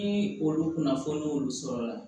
Ni olu kunnafoni y'olu sɔrɔ